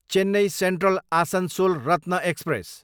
Chennai Central, Asansol Ratna express